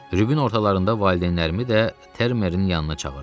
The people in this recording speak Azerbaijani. Rübun ortalarında valideynlərimi də Termerin yanına çağırdılar.